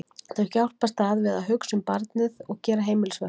Þau hjálpast að við að hugsa um barnið og gera heimilisverkin.